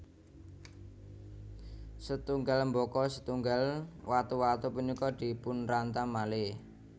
Setunggal mbaka setunggal watu watu punika dipunrantam malih